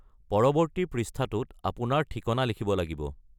পৰৱৰ্তী পৃষ্ঠাটোত আপোনাৰ ঠিকনা লিখিব লাগিব।